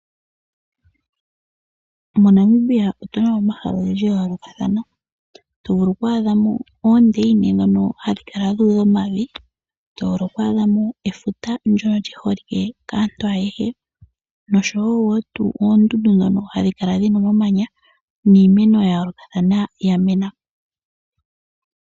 MoNamibia otuna omahala ogendji ga yoolokathana tovulu oku adhamo oondeyina dhono hadhi kala dhuudha omavi, tovulu oku adhamo efuta ndyoka lyiholike kaantu ayehe noshowoo tuu oondundu dhoka hadhi kala dhina omamanya niimeno mbyoka yamena.